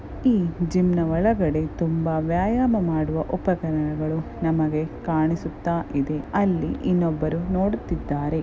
ಇದು ಜಿಮ್ನ ಒಳಗಡೆ ತುಂಬಾ ವ್ಯಾಯಮ ಮಾಡುವ ಉಪಕರಣಗಳು ನಮಗೆ ಕಾಣಿಸುತ್ತಾ ಇದೆ ಅಲ್ಲಿ ಇನ್ನೊಬ್ಬರು ನೊಡುತಿದ್ದಾರೆ .